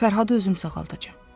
Fərhadı özüm sağaldacam.